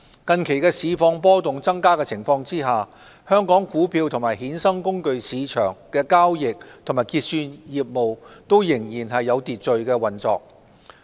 近期市況波動增加的情況下，香港股票及衍生工具市場的交易及結算業務仍然有序運作。